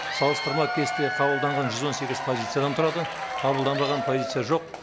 салыстырма кесте қабылданған жүз он сегіз позициядан тұрады қабылданбаған позиция жоқ